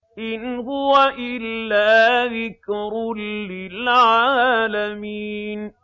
إِنْ هُوَ إِلَّا ذِكْرٌ لِّلْعَالَمِينَ